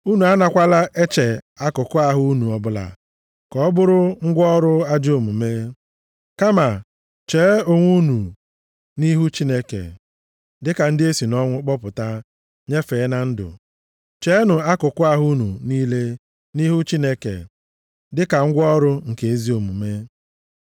Unu a nakwala eche akụkụ ahụ unu ọbụla ka ọ bụrụ ngwa ọrụ ajọ omume. Kama cheenụ onwe unu nʼihu Chineke, dịka ndị esi nʼọnwụ kpọpụta nyefee na ndụ. Cheenụ akụkụ ahụ unu niile nʼihu Chineke dịka ngwa ọrụ nke ezi omume.